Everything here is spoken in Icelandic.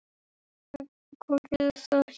Hvað gerir það Hjörvar?